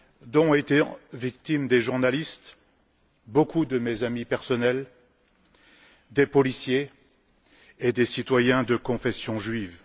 dont ont été victimes des journalistes beaucoup de mes amis personnels des policiers et des citoyens de confession juive.